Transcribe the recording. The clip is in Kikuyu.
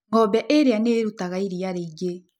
Ng'ombe ĩrĩa nĩ ĩrutaga iria rĩingĩ.